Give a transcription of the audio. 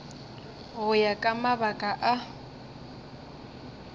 go ya ka mabaka a